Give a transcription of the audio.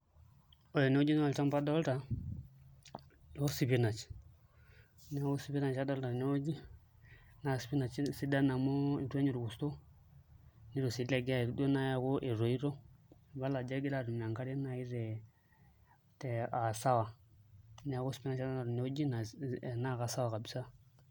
Ore tenewueji naa olchamba adolta loo spinach, neeku spinach adoolta tenewueji naa spinach sidan amu itu enya orkurto nituu sii ilegea aaku etoito ibala ajo egira aatum enkare naai aa sawa neeku spinach adolta tenewueji naa kasawa kabisa.